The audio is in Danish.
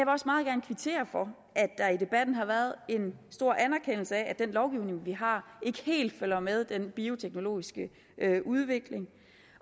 også meget gerne kvittere for at der i debatten har været en stor anerkendelse af at den lovgivning vi har ikke helt følger med den bioteknologiske udvikling